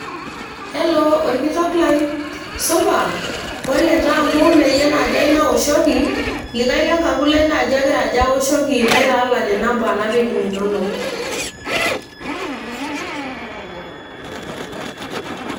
Hello ,orkitok lai supa!. pole taa amu ee yie naji ayieu naaoshoki ,likae lenkapu lai naji agira aja aoshoki naitaalan inamba napik inonok.